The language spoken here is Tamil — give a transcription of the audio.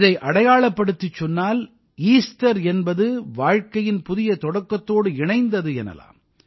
இதை அடையாளப்படுத்திச் சொன்னால் ஈஸ்டர் என்பது வாழ்க்கையின் புதிய தொடக்கத்தோடு இணைந்தது எனலாம்